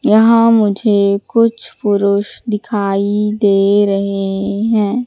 यहां मुझे कुछ पुरुष दिखाई दे रहे हैं।